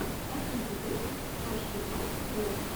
последний выпуск старший брат тв